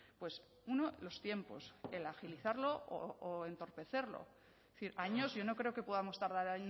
pues uno los tiempos el agilizarlo o entorpecerlo es decir años yo no creo que podamos tardar